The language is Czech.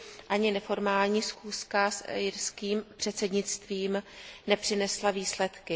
Ani neformální schůzka s irským předsednictvím nepřinesla výsledky.